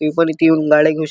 मी पण इथ येऊन गाडी घेऊ श--